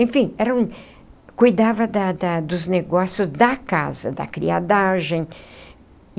Enfim eram, cuidava da da dos negócio da casa, da criadagem.